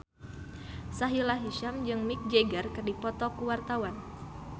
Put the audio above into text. Sahila Hisyam jeung Mick Jagger keur dipoto ku wartawan